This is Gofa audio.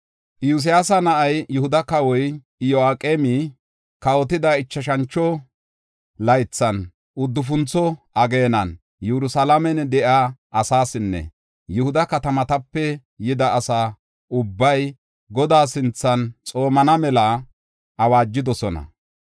Iyosyaasa na7ay Yihuda kawoy Iyo7aqeemi kawotida ichashantho laythan, uddufuntho ageenan, Yerusalaamen de7iya asaasinne Yihuda katamatape yida asa ubbay Godaa sinthan xoomana mela awaajidosona.